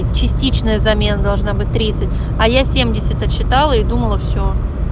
частичная замена должна быть тридцать а я семьдесят отчитала и думала все